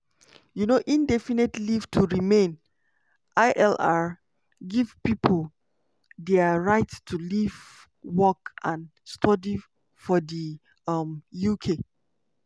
um indefinite leave to remain (ilr) give pipo di right to live work and study for di um uk.